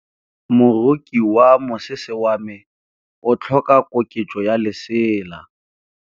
Moroki wa mosese wa me o tlhoka koketsô ya lesela.